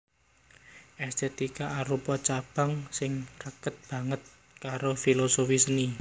Èstètika arupa cabang sing raket banget karo filosofi seni